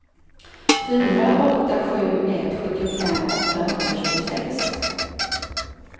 fyra åtta sju ett sjuttiofem åttahundratjugosex